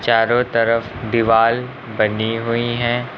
चारों तरफ दीवाल बनी हुई है।